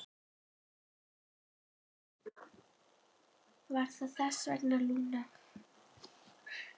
Var það þess vegna, Lúna?